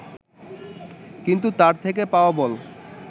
কিন্তু তার থেকে পাওয়া বল